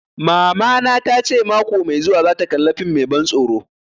Mamana ta ce mako mai zuwa za ta kalla fim mai ban tsoro